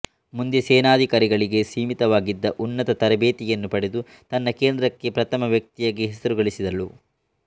ಮುಂದೆ ಸೇನಾಧಿಕಾರಿಗಳಿಗೆ ಸೀಮಿತವಾಗಿದ್ದ ಉನ್ನತ ತರಬೇತಿಯನ್ನು ಪಡೆದು ತನ್ನ ಕೇಂದ್ರಕ್ಕೇ ಪ್ರಥಮ ವ್ಯಕ್ತಿಯಾಗಿ ಹೆಸರು ಗಳಿಸಿದಳು